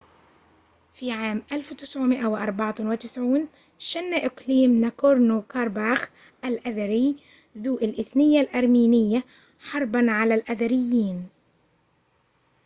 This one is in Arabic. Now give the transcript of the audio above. في عام 1994 شن إقليم ناكورنو كارباخ الاذري ذو الإثنية الأرمينية حرباً على الأذريين